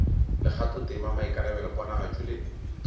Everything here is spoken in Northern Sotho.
le kgathotema maikarabelo ponagatšo le